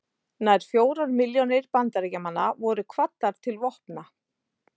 Nær fjórar milljónir Bandaríkjamanna voru kvaddar til vopna.